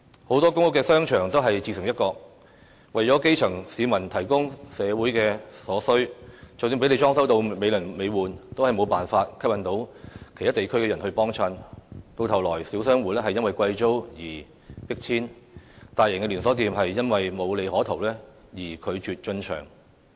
很多公屋商場都是自成一國，為基層市民提供生活所需，即使裝修得美輪美奐，也無法吸引其他地區的人光顧，到頭來小商戶因貴租而被迫遷，大型連鎖店因無利可圖而拒絕進場。